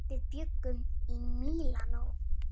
Við bjuggum í Mílanó.